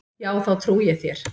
Jú, þá trúi ég þér.